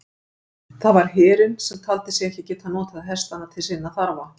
Það var herinn, sem taldi sig ekki geta notað hestana til sinna þarfa.